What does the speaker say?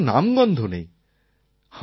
ঘামের কোনও নামগন্ধ নেই